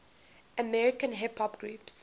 american hip hop groups